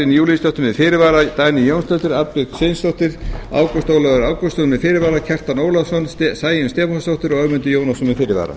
júlíusdóttir með fyrirvara dagný jónsdóttir arnbjörg sveinsdóttir ágúst ólafur ágústsson með fyrirvara kjartan ólafsson sæunn stefánsdóttir ögmundur jónasson með fyrirvara